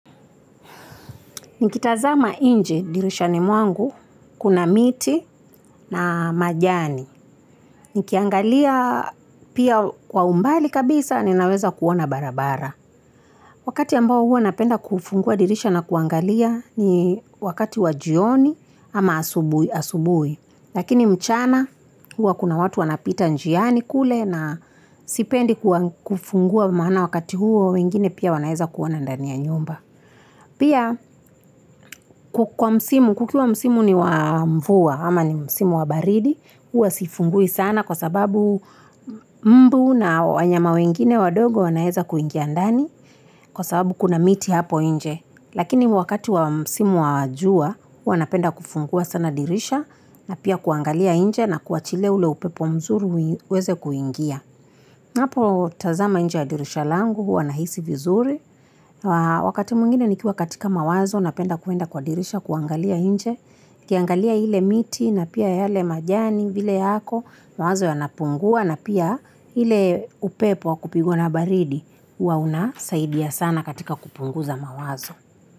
Nikitazama inje dirishani mwangu, kuna miti na majani. Nikiangalia pia kwa umbali kabisa, ninaweza kuona barabara. Wakati ambao huo napenda kufungua dirishani na kuangalia ni wakati wajioni ama asubui. Lakini mchana huo kuna watu wanapita njiani kule na sipendi kufungua maana wakati huo wengine pia wanaeza kuona ndani ya nyumba. Pia kukua msimu, kukiwa msimu ni wa mvua ama ni msimu wabaridi, huwa sifungui sana kwa sababu mbu na wanyama wengine wadogo wanaeza kuingia ndani kwa sababu kuna miti hapo inje. Lakini wakati wa msimu wajua, huwa napenda kufungua sana dirisha na pia kuangalia inje na kuachiliia ule upepo mzuri uweze kuingia. Napo tazama inje ya dirisha langu, hua nahisi vizuri. Wakati mungine ni kiwa katika mawazo, napenda kuenda kwa dirisha kuangalia inje. Kiangalia hile miti na pia yale majani vile yako, mawazo ya napungua na pia hile upepo wakupigwa na baridi. Huwa unasaidia sana katika kupunguza mawazo.